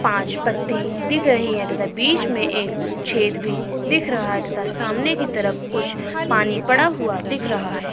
पाँच तथा बीच मे एक छेद भी दिख रहा तथा सामने की तरफ कुछ पानी पड़ा हुआ दिख रहा है।